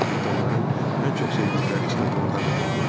Cırtdanların ən çox sevdikləri stadion dağıdıldı.